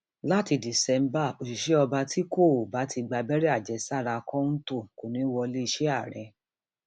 láti diṣẹmà òṣìṣẹ ọba tí kò bá tí ì gbàbẹrẹ àjẹsára kọńtò kò ní í wọlé iléeṣẹ ààrẹ